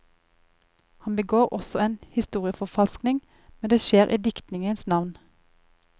Han begår også en historieforfalskning, men det skjer i diktningens navn.